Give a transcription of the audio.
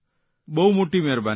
બહુ મોટી મહેરબાની છે